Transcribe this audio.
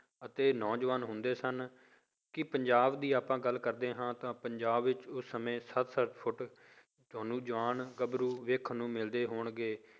ਅਤੇ ਨੌਜਵਾਨ ਹੁੰਦੇ ਸਨ ਕਿ ਪੰਜਾਬ ਦੀ ਆਪਾਂ ਗੱਲ ਕਰਦੇ ਹਾਂ ਤਾਂ ਪੰਜਾਬ ਵਿੱਚ ਉਸ ਸਮੇਂ ਸੱਤ ਸੱਤ ਫੁੱਟ ਤੁਹਾਨੂੰ ਜਵਾਨ ਗੱਭਰੂ ਦੇਖਣ ਨੂੰ ਮਿਲਦੇ ਹੋਣਗੇ।